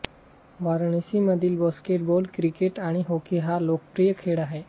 वाराणसीमधील basketball cricket आणि hockey हा लोकप्रिय खेळ आहे